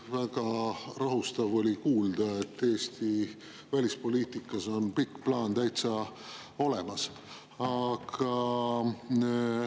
Väga rahustav oli kuulda, et Eesti välispoliitikas on pikk plaan täitsa olemas.